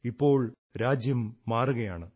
ഇപ്പോൾ രാജ്യം മാറുകയാണ്